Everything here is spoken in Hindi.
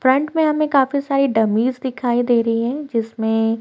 फ्रंट में हमें काफी सारी डमीज दिखाई दे रही है जिसमें--